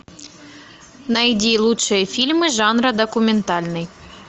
найди лучшие фильмы жанра документальный